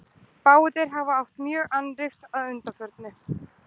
báðir hafa átt mjög annríkt að undanförnu